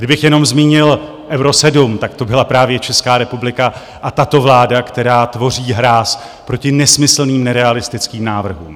Kdybych jenom zmínil Euro 7, tak to byla právě Česká republika a tato vláda, která tvoří hráz proti nesmyslným, nerealistickým návrhům.